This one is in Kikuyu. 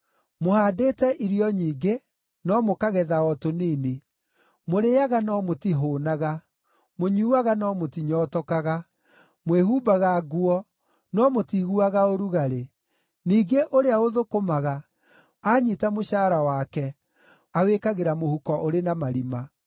Mũhaandĩte irio nyingĩ, no mũkagetha o tũnini. Mũrĩĩaga no mũtihũũnaga. Mũnyuuaga no mũtinyootokaga. Mwĩhumbaga nguo no mũtiiguaga ũrugarĩ. Ningĩ ũrĩa ũthũkũmaga, aanyiita mũcaara wake awĩkagĩra mũhuko ũrĩ na marima.”